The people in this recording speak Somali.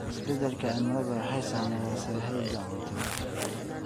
Isbeddelka cimiladu waxay saamaysaa sahayda cuntada.